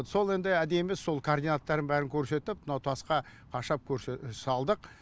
сол енді әдемі сол координаттарын бәрін көрсетіп мынау тасқа қашап салдық